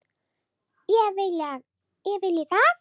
Ég vilji það?